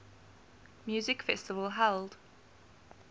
music festival held